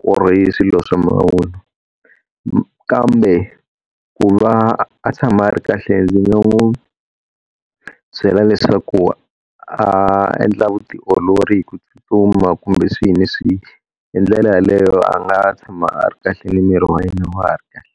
ku ri swilo swa mavunwa. Kambe ku va a tshama ri kahle ndzi nga n'wi byela leswaku a endla vutiolori hi ku tsutsuma kumbe swihi ni swihi, hi ndlela yaleyo a nga tshama a ri kahle ni miri wa yena wa ha ri kahle.